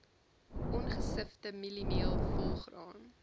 ongesifde mieliemeel volgraan